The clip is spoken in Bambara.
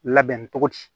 Labɛn cogo di